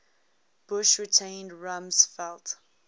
bush retained rumsfeld